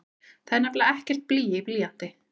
Það er nefnilega ekkert blý í blýanti!